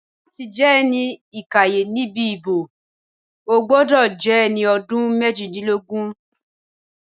Láti jẹ́ ẹni ìkàyẹ̀ níbi ìbò, o gbọ́dọ̀ jẹ́ ẹni ọdún méjìdínlógún